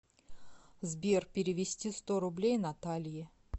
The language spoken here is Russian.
сбер перевести сто рублей наталье